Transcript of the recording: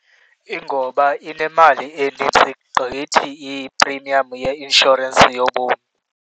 Ingoba inemali enintsi gqithi iprimiyamu yeinshorensi yobomi.